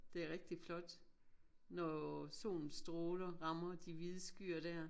Det rigtig flot når solens stråler rammer de hvide skyer dér